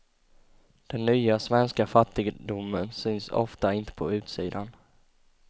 Den nya svenska fattigdomen syns ofta inte på utsidan.